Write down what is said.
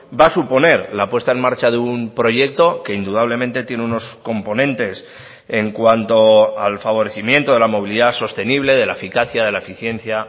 va a suponer la puesta en marcha de un proyecto que indudablemente tiene unos componentes en cuanto al favorecimiento de la movilidad sostenible de la eficacia de la eficiencia